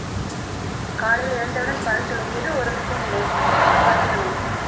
காலையில் எழுந்தவுடன் பல் துலக்கிட்டு ஒரு spoon நெய் பசு நெய்